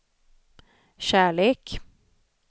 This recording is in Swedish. kärlek